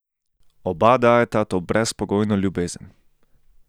Oba dajeta to brezpogojno ljubezen.